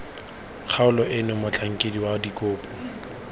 kgaolo eno motlhankedi wa dikopo